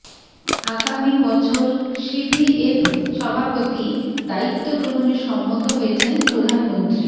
আগামী বছর সিভিএফ সভাপতি দায়িত্ব গ্রহণে সম্মত হয়েছেন প্রধানমন্ত্রী